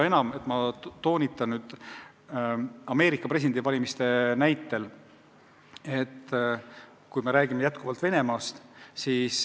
Ma toon jälle Ameerika presidendivalimiste näite, kuigi jutt on Venemaast.